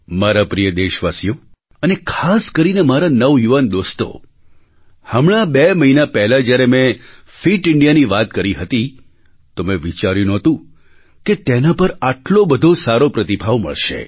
મારા પ્રિય દેશવાસીઓ અને ખાસ કરીને મારા નવયુવાન દોસ્તો હમણાં બે મહિના પહેલાં જ્યારે મેં ફિટ ઇન્ડિયા ની વાત કરી હતી તો મેં વિચાર્યું નહોતું કે તેના પર આટલો બધો સારો પ્રતિભાવ મળશે